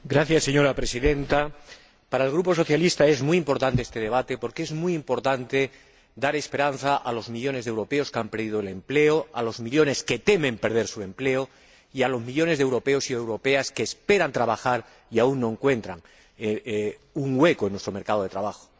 Señora Presidenta, para el grupo socialista es muy importante este debate porque es muy importante dar esperanza a los millones de europeos que han perdido el empleo, a los millones que temen perder su empleo y a los millones de europeos y europeas que esperan trabajar y aún no encuentran un hueco en nuestro mercado de trabajo.